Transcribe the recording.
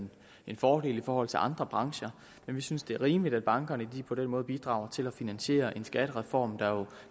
en fordel i forhold til andre brancher men vi synes det er rimeligt at bankerne på den måde bidrager til at finansiere en skattereform der jo